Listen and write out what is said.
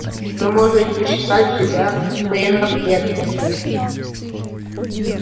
вы можете считать себя военнопленным